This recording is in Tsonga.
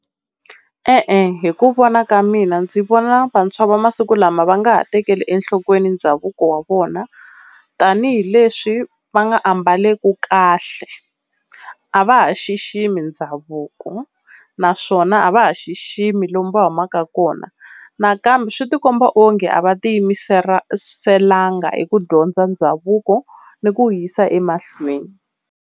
E-e hi ku vona ka mina ndzi vona vantshwa va masiku lama va nga ha tekeli enhlokweni ndhavuko wa vona tanihileswi va nga ambaleku, kahle a va ha xiximi ndhavuko naswona a va ha xiximi lomu va humaka kona. Nakambe swi ti komba onge a va tiyimisela nga hi ku dyondza ndhavuko ni ku wu yisa emahlweni.